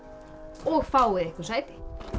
og fáið ykur sæti